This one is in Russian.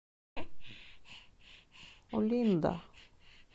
олинда